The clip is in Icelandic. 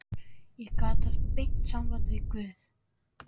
Ég get haft beint samband við guð.